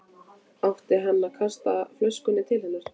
Átti hann að kasta flöskunni til hennar?